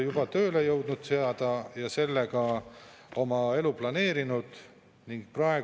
Ainuke arvamus, mida on arvesse võetud, on Eesti Pangaliidu arvamus selle kohta, et maksukoormuse tõusul on oluline negatiivne mõju krediidiasutuste ärimudelitele.